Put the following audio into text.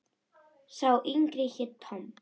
Sá yngri hét Tom.